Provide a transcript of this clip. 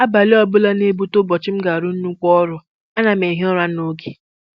Abalị ọbụla ga-abọta ụbọchị m ga-arụ nnukwu ọrụ, ana m ehi ụra n'oge